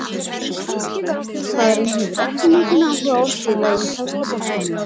Spænski landsliðsmaðurinn hefur ekki mikinn áhuga á að spila í ítalska boltanum.